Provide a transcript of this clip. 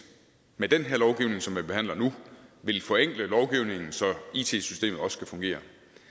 med den her lovgivning som vi behandler nu vil forenkle lovgivningen så it systemet også kan fungere